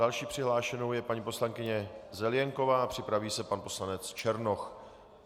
Další přihlášenou je paní poslankyně Zelienková, připraví se pan poslanec Černoch.